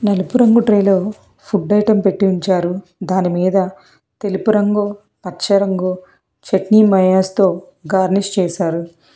నలుపు రంగు ట్రేలో ఫుడ్ ఐటమ్ పెట్టి ఉంచారు దానిమీద తెలుపు రంగు పచ్చరంగు చట్నీ మయాస్ తొ గార్నిష్ చేశారు.